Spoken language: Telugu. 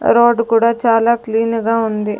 రోడ్డు కూడా చాలా క్లీను గా ఉంది.